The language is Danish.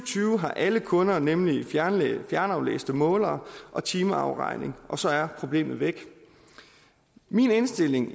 tyve har alle kunder nemlig fjernaflæste målere og timeafregning og så er problemet væk min indstilling